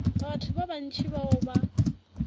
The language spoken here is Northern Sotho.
batho ba bantši bao ba